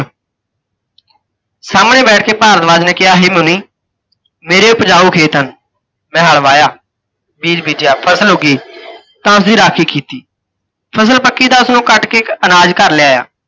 ਸਾਹਮਣੇ ਬੈਠਕੇ ਭਾਰਦਵਾਜ ਨੇ ਕਿਹਾ, ਹੇ ਮੁੰਨੀ ਮੇਰੇ ਉਪਜਾਊ ਖੇਤ ਹਨ, ਮੈਂ ਹਲ ਵਾਹਿਆ, ਬੀਜ ਬੀਜਿਆ ਫ਼ਸਲ ਉੱਗੀ, ਤਾਂ ਇਹਦੀ ਰਾਖੀ ਕੀਤੀ, ਫ਼ਸਲ ਪੱਕੀ ਤਾਂ ਉਸਨੂੰ ਕੱਟ ਕੇ ਅਨਾਜ ਘਰ ਲੈ ਆਇਆ